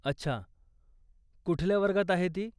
अच्छा, कुठल्या वर्गात आहे ती?